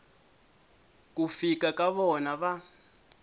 ku fika ka vona va